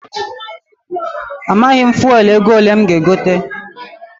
Amaghị m fuelu ego ole m ga- egote.